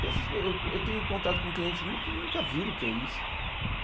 Porque essas pe eu eu tenho contato com clientes mesmo que nunca viram o que é isso.